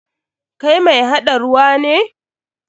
Kai mai haɗa ruwa ne?